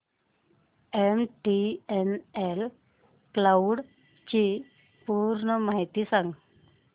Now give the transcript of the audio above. MTNL cloud ची पूर्ण माहिती सांग